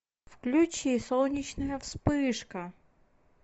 включи солнечная вспышка